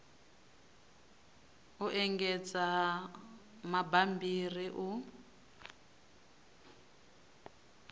u engedza ha bammbiri u